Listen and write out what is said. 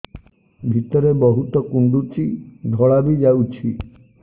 ଭିତରେ ବହୁତ କୁଣ୍ଡୁଚି ଧଳା ବି ଯାଉଛି